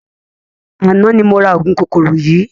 Àná ni mo ra ogún kòkòrò yii